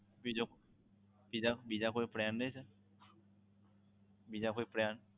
બીજો બીજા કોઈ plan નહીં sir બીજા કોઈ plan